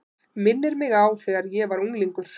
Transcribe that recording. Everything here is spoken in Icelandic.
Minnir mig á þegar ég var unglingur.